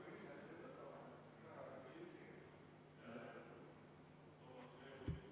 EKRE fraktsiooni palutud vaheaeg on lõppenud.